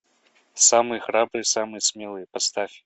самый храбрый самый смелый поставь